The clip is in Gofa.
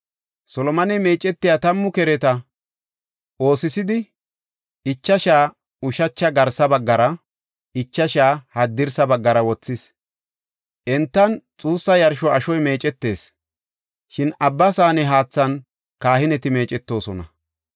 Solomoney meecetiya tammu kereta; oosisidi, ichashaa ushacha garsa baggara, ichashaa haddirsa baggara wothis. Entan xuussa yarsho ashoy meecetees; shin Abba Saane haathan kahineti meecetoosona.